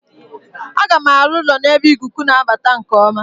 Aga m arụ ụlọ n'ebe ikuku na-abata nke ọma.